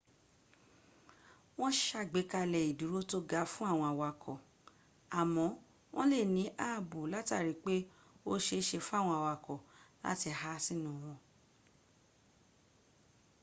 wọ́n sàgbékalẹ̀ ìdúró tó ga fún àwọn awakọ̀ àmọ́ wọ́n lè ní ààbò látarí pé ó se é se fáwọn awakọ̀ láti há sínú wọn